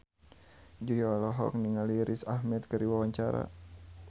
Jui olohok ningali Riz Ahmed keur diwawancara